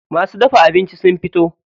Masu dafa abincin sun fito.